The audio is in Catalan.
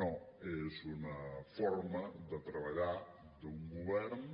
no és una forma de treballar d’un govern